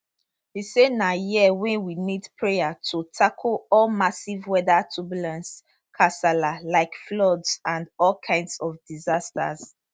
e say na year wey we need prayer to tackle all massive weather turbulence kasala like floods and all kinds of disasters